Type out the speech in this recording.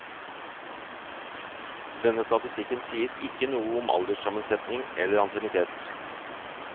Denne statistikken sier ikke noe om alderssammensetning eller ansiennitet.